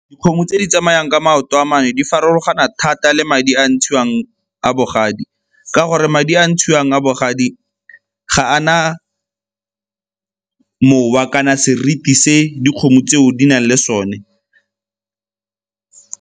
Dikgomo tse di tsamayang ka maoto a mane di farologana thata le madi a a ntshiwang a bogadi ka gore madi a a ntshiwang a bogadi ga a na mowa kana seriti se dikgomo tseo di nang le sone.